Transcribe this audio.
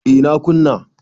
A na kuna